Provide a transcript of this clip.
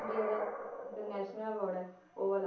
India ਦਾ international award ਹੈ ਉਹ ਵਾਲਾ